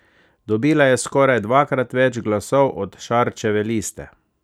Dobila je skoraj dvakrat več glasov od Šarčeve liste.